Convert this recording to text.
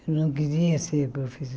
Eu não queria ser